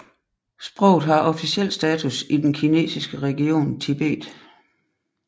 Sproget har officiel status i den kinesiske region Tibet